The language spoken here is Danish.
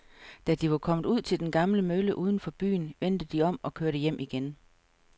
Da de var kommet ud til den gamle mølle uden for byen, vendte de om og kørte hjem igen.